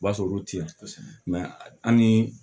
O b'a sɔrɔ olu ti yan an ni